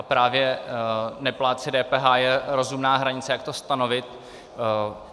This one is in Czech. A právě neplátci DPH je rozumná hranice, jak to stanovit.